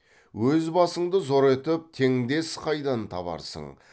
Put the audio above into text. өз басыңды зор етіп теңдес қайдан табарсың